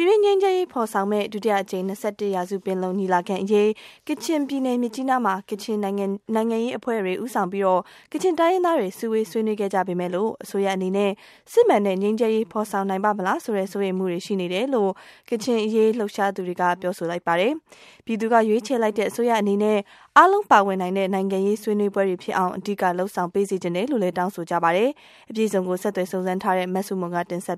ပြည်တွင်းငြိမ်းချမ်းရေးဖော်ဆောင်မယ့် ဒုတိယအကြိမ်၂၁ ရာစုပင်လုံညီလာခံအရေး ကချင်ပြည်နယ်မြစ်ကြီးနားမှာ ကချင်နိုင်ငံရေးအဖွဲ့တွေ ဦးဆောင်ပြီး ကချင်တိုင်းရင်းသားတွေ စုဝေးဆွေးနွေးခဲ့ကြပေမဲ့လို့ အစိုးရအနေနဲ့ စစ်မှန်တဲ့ငြိမ်းချမ်းရေး ဖော်ဆောင်နိုင်ပါ့မလားဆိုတဲ့ စိုးရိမ်မှုတွေရှိနေတယ်လို့ ကချင့်အရေးလှုပ်ရှားသူတွေကပြောဆိုလိုက်ကြပါတယ်။ ပြည်သူကရွေးချယ်လိုက်တဲ့အစိုးရအနေနဲ့ အားလုံး ပါဝင်နိုင်တဲ့နိုင်ငံရေး ဆွေးနွေးပွဲတွေဖြစ်အောင် အဓိကလုပ်ဆောင်စေချင်တယ်လို့လည်း တောင်းဆိုကြပါတယ်။ အပြည့်အစုံ ဆက်သွယ်စုံစမ်းထားတဲ့ မဆုမွန်က တင်ပြ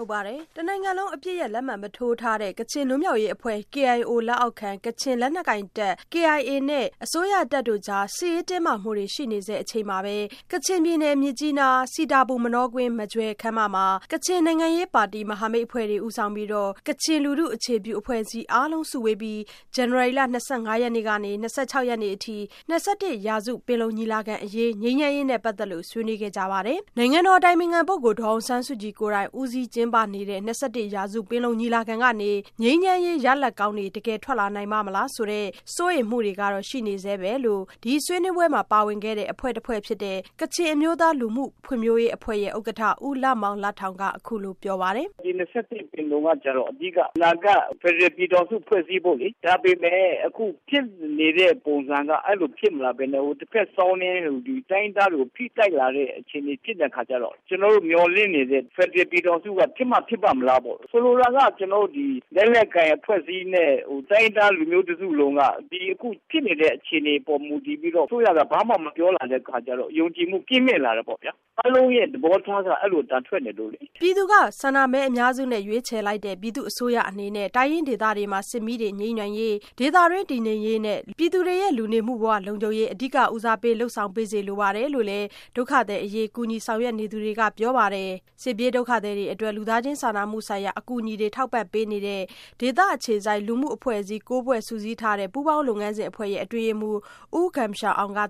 ထားပါတယ်။ တနိုင်ငံလုံး အပစ်ရပ်လက်မှတ်မထိုးထားတဲ့ ကချင်လွတ်မြောက်ရေးအဖွဲ့ KIO လက်အောက်ခံ ကချင်လက်နက်ကိုင်တပ် KIA နဲ့ အစိုးရတပ်တို့ကြား စစ်ရေးတင်းမာမှုတွေ ရှိနေဆဲအချိန်မှာပဲ ကချင်ပြည်နယ်၊ မြစ်ကြီးနား စီတာပူ မနောကွင်း မဂျွယ်ခမ်းမမှာ ကချင်နိုင်ငံရေးပါတီမဟာမိတ်အဖွဲ့တွေ ဦးဆောင်ပြီးတော့ ကချင်လူထုအခြေပြု အဖွဲ့အစည်းတွေ အားလုံးစုဝေးပြီး ဇန်နဝါရီလ ၂၅ ကနေ ၂၆ရက်နေ့အထိ ၂၁ ရာစုပင်လုံညီလာခံအရေး ငြိမ်းချမ်းရေးနဲ့ပတ်သက်လို့ ဆွေးနွေးခဲ့ကြပါတယ်။ နိုင်ငံတော်အတိုင်ပင်ခံပုဂ္ဂိုလ်ဒေါ်အောင်ဆန်းစုကြည် ကိုယ်တိုင် ဦးစီးကျင်းပနေတဲ့ ၂၁ရာစုပင်လုံညီလာခံကနေ ငြိမ်းချမ်းရေးရလဒ်ကောင်းတွေ တကယ်ထွက်လာပ့ါမလားဆိုတဲ့စိုးရိမ်မှုတွေက ရှိနေဆဲပဲလို့ ဒီဆွေးနွေးပွဲမှာ ပါဝင်ခဲ့တဲ့ အဖွဲ့တဖွဲ့ဖြစ်တဲ့ ကချင်အမျိုးသား လူမှုဖွံ့ဖြိုးရေးအဖွဲ့ရဲ့ ဥက္ကဋ္ဌ ဦးလမောင်လထောင်က အခုလိုပြောပါတယ်။ “ဒီ၂၁ ပင်လုံကတော့ အဓိက အနာဂတ် ဖယ်ဒရယ်ပြည်ထောင်စု ဖွဲ့စည်းဖို့လေ။ ဒါပေမယ့် အခုဖြစ်နေတဲ့ပုံစံက အဲသလိုဖြစ်မလာပဲနဲ့ တဖက်စောင်းနင်း ဒီတိုင်းရင်းသားတွေကို ဖိတိုက်လာတဲ့အခြေအနေတွေဖြစ်လာတဲ့အခါကျတော့ ကျနော်တို့မျှော်လင့်နေတဲ့ဖယ်ဒရယ်ပြည်ထောင်စုက ဖြစ်မှ ဖြစ်ပါ့မလားပေါ့။ ဆိုလိုတာက ကျနော်တို့ ဒီ.. လက်နက်ကိုင်အဖွဲ့အစည်းနဲ့ တိုင်းရင်းသားလူမျိုးတစုလုံးက ဒီအခုဖြစ်နေတဲ့ အခြေအနေပေါ်မူတည်ပြီး အစိုးရက ဘာမှ မပြောလာတဲ့အခါကျတော့ယုံကြည်မှု ကင်းမဲ့လာတယ်ပေါ့ဗျာ။ အားလုံးရဲ့ သဘောထားက အဲဒီလို အသံထွက်နေလို့လေ။ ” ပြည်သူကဆန္ဒမဲအများစုနဲ့ရွေးချယ်လိုက်တဲ့ ပြည်သူ့အစိုးရအနေနဲ့ တိုင်းရင်းဒေသတွေမှာ စစ်မီးတွေ ငြိမ်းနိုင်ရေး၊ ဒေသတွင်းတည်ငြိမ်ရေးနဲ့ ပြည်သူလူထုရဲ့လူနေမှုဘဝလုံခြုံရေး၊ အဓိကဦးစားပေးလုပ်ဆောင်စေလိုပါတယ်လို့လည်း ဒုက္ခသည်အရေး ကူညီဆောင်ရွက်နေသူတွေကပြောပါတယ်။ စစ်ပြေးဒုက္ခသည်တွေအတွက် လူသားချင်း စာနာမှုဆိုင်ရာအကူအညီတွေ ထောက်ပံ့ ကူညီပေးနိုင်ရေး ဒေသအခြေစိုက် လူမှုအဖွဲ့အစည်း (၉)ဖွဲ့ စုစည်းထားတဲ့ ပူးပေါင်းလုပ်ငန်းစဉ်အဖွဲ့ရဲ့ အတွင်းရေးမှူး U Gum Sha Awng က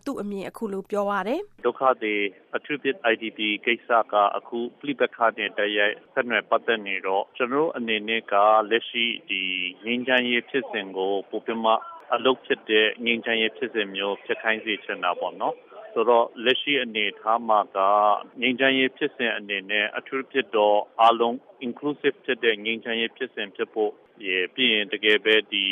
အခုလိုပြောပြပါတယ်။ “ဒုက္ခသည်၊ အထူးသဖြင့် IDP ကိစ္စက အခုပဋိပက္ခနဲ့တိုက်ရိုက် ဆက်နွယ် ပတ်သက်နေတော့ ကျနော်တို့အနေနဲ့က လက်ရှိ ဒီ…ငြိမ်းချမ်းရေးဖြစ်စဉ်ကို ပိုပြီးမှ အလုပ်ဖြစ်တဲ့ ငြိမ်းချမ်းရေးဖြစ်စဉ်မျိုး ဖြစ်ခိုင်းစေချင်တာပေါ့နော်။ ဆိုတော့ လက်ရှိအနေအထားမှာက ငြိမ်းချမ်းရေးဖြစ်စဉ်အနေနဲ့ အထူးသဖြင့်တော့ အားလုံး Inclusive ဖြစ်တဲ့ငြိမ်းချမ်းရေး ဖြစ်စဉ်ဖြစ်ဖို့ရယ်၊ ပြီးရင် တကယ်ပဲဒီ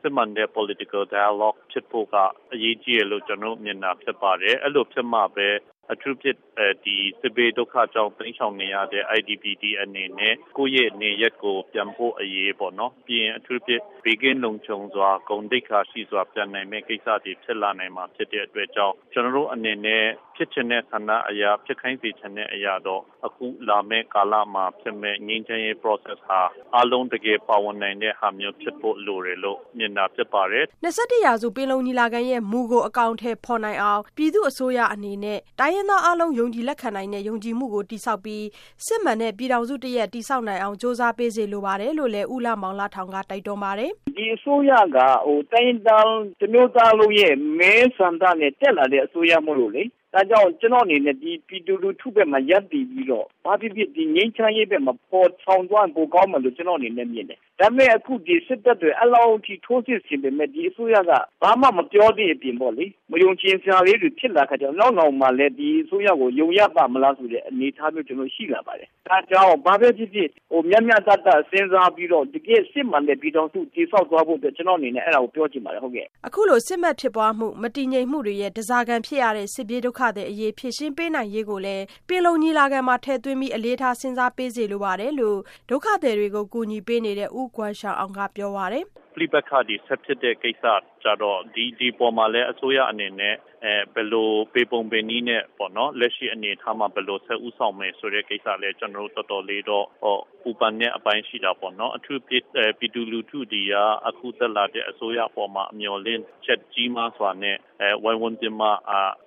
စစ်မှန်တဲ့ political dialogue ( နိုင်ငံရေးဆွေးနွေးပွဲ) ဖြစ်ဖို့က အရေးကြီးတယ်လို့ ကျနော်တို့ မြင်တာဖြစ်ပါတယ်။ အဲ့လိုဖြစ်မှာပဲ အထူးသဖြင့်ဒီ စစ်ဘေးဒုက္ခကြောင့် တိမ်းရှောင်နေရတဲ့ IDP တွေအနေနဲ့ ကိုယ့်ရဲ့နေရပ်ကို ပြန်ဖို့အရေးပေါ့နော်၊ ပြီးရင် အထူးသဖြင့် ဘေးကင်းလုံခြုံစွာ၊ ဂုဏ်သိက္ခာရှိစွာပြန်နိုင်မယ့် ကိစ္စတွေ ဖြစ်လာနိုင်မှာဖြစ်တဲ့အတွက်ကြောင့် ကျနော်တို့အနေနဲ့ ဖြစ်ချင်တဲ့ ဆန္ဒအရ ဖြစ်ခိုင်းစေချင်တဲ့အရာကတော့ အခုလာမယ့် ကာလမှာဖြစ်မယ့် ငြိမ်းချမ်းရေး process (လုပ်ငန်းစဉ်) ဟာအားလုံး တကယ်ပါဝင်နိုင်တဲ့ဟာမျိုး ဖြစ်ဖို့လိုတယ်လို့ မြင်တာဖြစ်ပါတယ်။” ၂၁ရာစုပင်လုံညီလာခံရဲ့မူကို အကောင်အထည်ဖော်နိုင်အောင် ပြည်သူ့ အစိုးရအနေနဲ့ တိုင်းရင်းသားအားလုံး ယုံကြည်လက်ခံနိုင်တဲ့ ယုံကြည်မှုတည်ဆောက်ပြီး စစ်မှန်တဲ့ပြည်ထောင်စုတရပ်တည်ဆောက်နိုင်အောင် ကြိုးစားစေလိုတယ်လို့ ဦးလမောင်လထောင်ကလည်း တိုက်တွန်းပါတယ်။ “ ဒီအစိုးရက တိုင်းရင်းသားတမျိုးသားလုံးရဲ့ မဲဆန္ဒနဲ့တက်လာတဲ့အစိုးရမို့လို့လေ၊ ဒါကြောင့် ကျနော့်အနေနဲ့ ဒီပြည်သူလူထုဘက်မှာ ရပ်တည်နေပြီးတော့ ဘာဖြစ်ဖြစ် ဒီငြိမ်းချမ်းရေးဘက် မှာ ဖော်ဆောင်သွားရင် ပိုကောင်းမယ်လို့ ကျနော်မြင်တယ်။ ဒါပေမယ့် ဒီစစ်တပ်တွေ အဲ့လောက်ထိ ထိုးစစ်ဆင်ပေမယ့် ဒီအစိုးရက ဘာမှ မပြောသည့်အပြင်ပေါ့လေ။ မယုံကြည်စရာလေးတွေ ဖြစ်လာတဲ့အခါ ကျတော့ နောက်နောင်မှာလည်း ဒီအစိုးရကို ယုံရပါ့မလားဆိုပြီးတော့ အနေအထားမျိုး ကျနော်တို့ ရှိလာပါတယ်။ ဒါကြောင့် ဘာပဲဖြစ်ဖြစ် မျှမျှတတ စဉ်းစားပြီးတော့တကယ့် စစ်မှန်တဲ့ ဖယ်ဒရယ်ပြည်ထောင်စု တည်ဆောက်ပေးဖို့ ကျနော့်အနေနဲ့ အဲတာကို ပြောချင်ပါတယ်။ ဟုတ်ကဲ့။ ” အခုလို စစ်မက်ဖြစ်ပွားမှုရဲ့ မတည်ငြိမ်မှုတွေရဲ့ ဓားစာခံဖြစ်ရတဲ့ စစ်ပြေးဒုက္ခသည်တွေအရေး ဖြေရှင်းနိုင်ပေးရေးကိုလည်း ပင်လုံညီလာခံမှာ အလေးထား စဉ်းစားပေးစေလိုပါတယ်လို့လည်း ဒုက္ခသည်တွေကိုကူညီပေးနေတဲ့ U Gum Sha Awng ကပြောပါတယ်။ “ပဋိပက္ခတွေဖြစ်နေတဲ့ ကိစ္စကျတော့ဒီအပေါ်မှာလည်း အစိုးရအနေနဲ့လည်း ဘယ်လို၊ ဘယ်ပုံ၊ ဘယ်နည်းနဲ့ ပေါ့နော် လက်ရှိအနေအထားမှာ ဘယ်လို ဦးဆောင်မယ်ဆိုတဲ့ ကိစ္စလည်းကျနော်တို့ တော်တော်လေးတော့ ပူပန်တဲ့အပိုင်းရှိတာပေါ့နော်။ အထူးသဖြင့်တော့ ပြည်သူလူထုတွေက အခုတက်လာတဲ့ အစိုးရအပေါ်မှာ မျှော်လင့်ချက်ကြီးမားစွာနဲ့ ဝိုင်းဝန်းပြီးမှ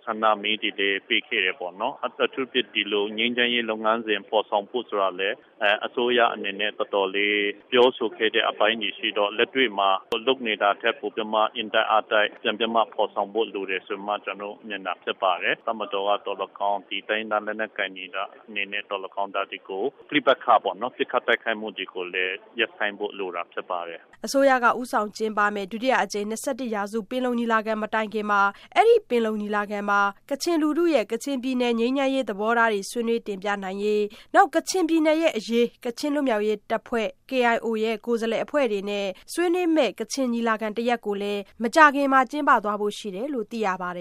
ဆန္ဒမဲတွေလည်း ပေးခဲ့တယ်ပေါ့။ အထူးသဖြင့် ဒီလို ငြိမ်းချမ်းရေး လုပ်ငန်းစဉ်ဖော်ဆောင်ဖို့ဆိုတာလည်း အစိုးရအနေနဲ့တော်တော်လေး ပြောဆိုခဲ့တဲ့အပိုင်းတွေရှိခဲ့တော့ လက်တွေ့မှာ လုပ်နေတာထက်ပိုပြီးတော့ အင်တိုက်အားတိုက်ပြန်ပြီး ဖော်ဆောင်ဖို့လိုတယ်လို့ ကျနော်တို့ မြင်တာဖြစ်ပါတယ်။ တပ်မတော်က သော်လည်းကောင်း၊ ဒီတိုင်းရင်းသားလက်နက်ကိုင်တွေ အနေနဲ့သော်လည်းကောင်း ဒါတွေကို ပဋိပက္ခပေါ့နော်၊ ပစ်ခတ်တိုက်ခိုက်မှုတွေကိုလည်း ရပ်ဆိုင်းဖို့လိုတာဖြစ်ပါတယ် ” အစိုးရက ဦးဆောင်ကျင်းပမယ့် ဒုတိယအကြိမ် ၂၁ရာစုပင်လုံညီလာခံမတိုင်ခင်မှာ အဲ့ဒီ့ပင်လုံညီလာခံမှာ ကချင်လူထုရဲ့ ကချင်ပြည်နယ်ငြိမ်းချမ်းရေး သဘောထားတွေကို ဆွေးနွေးတင်ပြနိုင်ရေးနဲ့ ကချင်ပြည်နယ်အရေး ကချင်လွတ်မြောက်ရေးအဖွဲ့ KIO ရဲ့ ကိုယ်စားလှယ်အဖွဲ့တွေ နဲ့ ဆွေးနွေးတဲ့ကချင်ညီလာခံတရပ်ကိုလည်း မကြာခင်မှာ ကျင်းပသွားဖို့ရှိပါတယ်လို့သိရပါတယ်